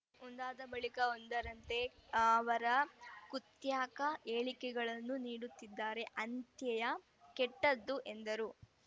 ಒಂದಾದ ಬಳಿಕ ಒಂದರಂತೆ ಅವರು ಕುಖ್ಯಾತ ಹೇಳಿಕೆಗಳನ್ನು ನೀಡುತ್ತಿದ್ದಾರೆ ಅಂತ್ಯೆ ಯ ಕೆಟ್ಟದ್ದು ಎಂದರೆ